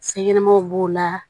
Fɛn ɲɛnɛmanw b'o la